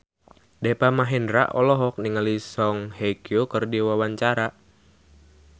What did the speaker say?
Deva Mahendra olohok ningali Song Hye Kyo keur diwawancara